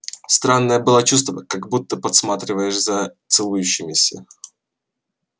странное было чувство как будто подсматриваешь за целующимися